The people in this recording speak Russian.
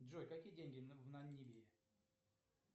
джой какие деньги в намибии